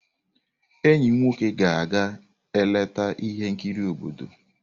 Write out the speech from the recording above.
Enyi m nwoke ga-aga eleta ihe nkiri obodo.